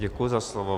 Děkuji za slovo.